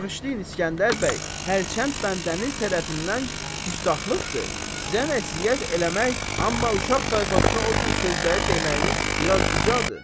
Bağışlayın İsgəndər bəy, hərçənd bəndəniz tərəfindən küstaxlıqdır, sizə nəsihət eləmək, amma uşaq tayfasına o cür sözləri deməyiniz biraz bicadır.